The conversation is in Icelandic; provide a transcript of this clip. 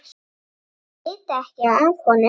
Þau vita ekki af honum.